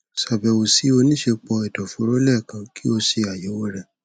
ṣabẹwo si onisẹpọ ẹdọforo lẹẹkan ki o ṣe ayẹwo rẹ